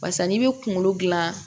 Barisa n'i bɛ kunkolo dilan